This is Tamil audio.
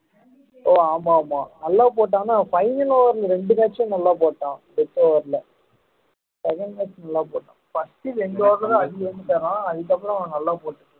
ஒ ஆமா ஆமா நல்ல போட்டாங்கன்னா final over ல ரெண்டு match ம் நல்லா போட்டான் final match நல்லா போட்டான் first ரெண்டு over தான் அதுக்கப்புறம் நல்லா போட்டான்